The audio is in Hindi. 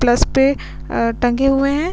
प्लस पे टंगे हुए हैं |